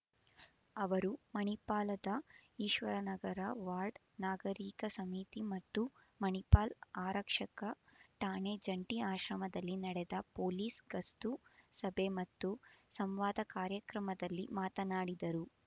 ಅವರು ಮಣಿಪಾಲದ ಈಶ್ವರನಗರ ವಾರ್ಡ್ ನಾಗರೀಕ ಸಮಿತಿ ಮತ್ತು ಮಣಿಪಾಲ ಆರಕ್ಷಕ ಠಾಣೆ ಜಂಟಿ ಆಶ್ರಮದಲ್ಲಿ ನಡೆದ ಪೊಲೀಸ್ ಗಸ್ತು ಸಭೆ ಮತ್ತು ಸಂವಾದ ಕಾರ್ಯಕ್ರಮದಲ್ಲಿ ಮಾತನಾಡಿದರು